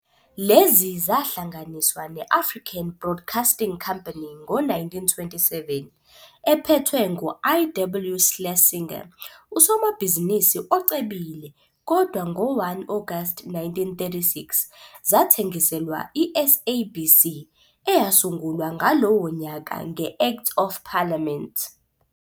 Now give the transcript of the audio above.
Lezi zahlanganiswa ne-African Broadcasting Company ngo-1927, ephethwe ngu-I. W. Schlesinger, usomabhizinisi ocebile, kodwa ngo-1 August 1936, zathengiselwa i-SABC, eyasungulwa ngalowo nyaka "'nge-Act of Parliament.